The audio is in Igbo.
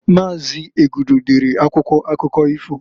Maazi Egudu dere akwụkwọ akụkọ ifo.